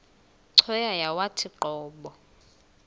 cweya yawathi qobo